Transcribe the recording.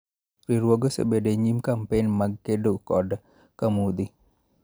Riwruoge osebedo e nyim kampen mag kedo kod camudhi.